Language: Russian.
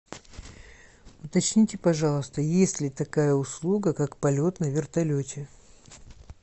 уточните пожалуйста есть ли такая услуга как полет на вертолете